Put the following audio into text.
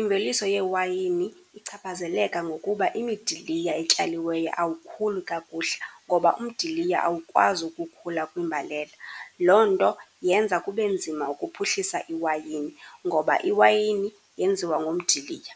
imveliso yeewayini ichaphazeleka ngokuba imidiliya etyaliweyo awukhuli kakuhle, ngoba umdiliya awukwazi ukukhula kwimbalela. Loo nto yenza kube nzima ukuphuhlisa iwayini ngoba iwayini yenziwa ngomdiliya.